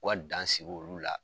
U ka dan sigi ulu la.